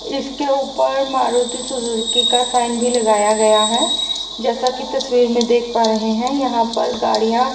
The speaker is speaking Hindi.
इसके ऊपर मारुति सुजुकी का साइन भी लगाया गया है जैसा की तस्वीर में देख पा रहे हैं यहां पर गाड़ियां--